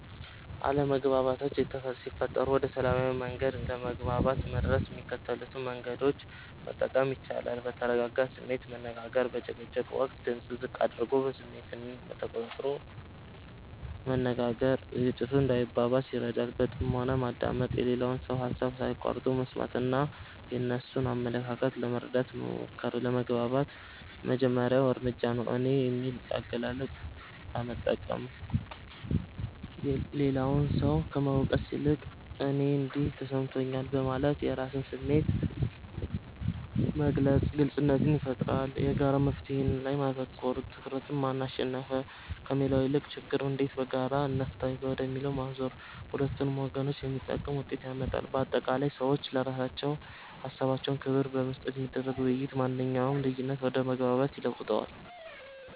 አለመግባባቶች ሲፈጠሩ ወደ ሰላማዊ መግባባት ለመድረስ የሚከተሉትን መንገዶች መጠቀም ይቻላል፦ በተረጋጋ ስሜት መነጋገር፦ በጭቅጭቅ ወቅት ድምጽን ዝቅ አድርጎና ስሜትን ተቆጣጥሮ መነጋገር ግጭቱ እንዳይባባስ ይረዳል። በጥሞና ማዳመጥ፦ የሌላውን ሰው ሃሳብ ሳይቋርጡ መስማትና የእነሱን አመለካከት ለመረዳት መሞከር ለመግባባት የመጀመሪያው እርምጃ ነው። "እኔ" የሚል አገላለጽን መጠቀም፦ ሌላውን ሰው ከመውቀስ ይልቅ "እኔ እንዲህ ተሰምቶኛል" በማለት የራስን ስሜት መግለጽ ግልጽነትን ይፈጥራል። የጋራ መፍትሔ ላይ ማተኮር፦ ትኩረትን "ማን አሸነፈ?" ከሚለው ይልቅ "ችግሩን እንዴት በጋራ እንፍታው?" ወደሚለው ማዞር ለሁለቱም ወገን የሚጠቅም ውጤት ያመጣል። ባጠቃላይ፣ ለሰዎችና ለሃሳባቸው ክብር በመስጠት የሚደረግ ውይይት ማንኛውንም ልዩነት ወደ መግባባት ይለውጠዋል።